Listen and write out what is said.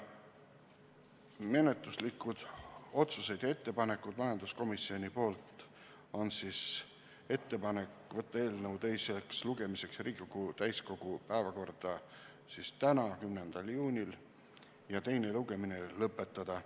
Menetluslikud otsused ja ettepanekud majanduskomisjonilt on järgmised: võtta eelnõu teiseks lugemiseks Riigikogu täiskogu päevakorda tänaseks, 10. juuniks ja teine lugemine lõpetada.